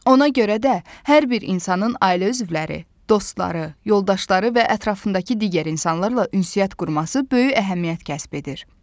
Ona görə də hər bir insanın ailə üzvləri, dostları, yoldaşları və ətrafındakı digər insanlarla ünsiyyət qurması böyük əhəmiyyət kəsb edir.